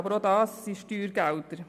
Aber auch dies sind Steuergelder.